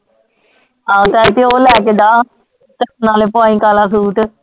ਆ ਲੈਕੇ ਓ ਲੈਕੇ ਜਾ ਤੇ ਨਾਲੇ ਪੋਇੰਕ ਵਾਲਾ ਸੂਟ